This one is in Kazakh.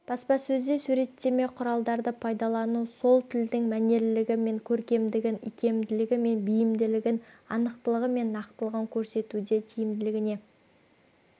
баспасөзде суреттеме құралдарды пайдалану сол тілдің мәнерлілігі мен көркемдігін икемділігі мен бейімділігін анықтылығы мен нақтылығын көрсетуде тиімділігіне